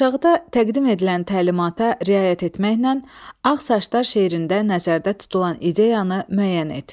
Aşağıda təqdim edilən təlimata riayət etməklə ağ saçlar şeirində nəzərdə tutulan ideyanı müəyyən et.